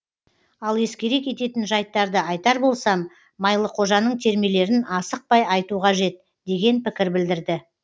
ал ескере кететін жайттарды айтар болсам майлықожаның термелерін асықпай айту қажет деген пікір білдірді